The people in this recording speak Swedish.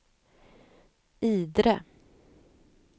Idre